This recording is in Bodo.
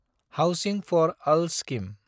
housing for all scheme